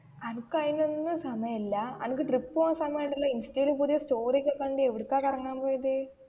അനക്ക് അയിനു ഒന്നും സമയം ഇല്ല അനക്ക് ട്രിപ്പ് പോകാൻ സമയം ഉണ്ടല്ലോ ഇൻസ്റ്റയിൽ പുതിയ സ്റ്റോറി ഒക്കേ കണ്ടു എവിടെക്കാ കറങ്ങാൻ പോയത്?